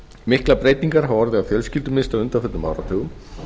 miklar breytingar hafa orðið á fjölskyldumynstri á undanförnum áratugum